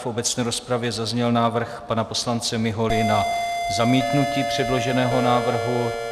V obecné rozpravě zazněl návrh pana poslance Miholy na zamítnutí předloženého návrhu.